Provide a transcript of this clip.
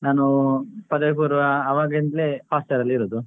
ನಾನು ಪದವಿ ಪೂರ್ವ ಆವಾಗ್ಲಿಂದ್ಲೇ hostel ಅಲ್ಲಿರುದು.